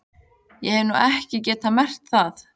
Ég hef nú ekki getað merkt það.